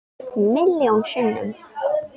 Milljón sinnum.